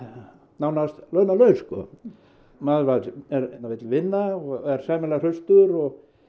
nánast launalaus maður vill vinna og er sæmilega hraustur og